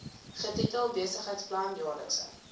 getitel besigheidsplan jaarlikse